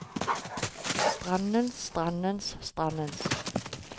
strandens strandens strandens